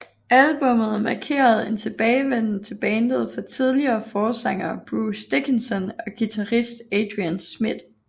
Albummet markerede en tilbagevenden til bandet for tidligere forsanger Bruce Dickinson og guitarist Adrian Smith